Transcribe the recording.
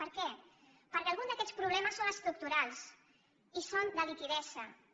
per què perquè algun d’aquests problemes són estructurals i són de liquiditat